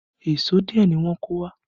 Èṣó díẹ̀ ni wọ́n kó wá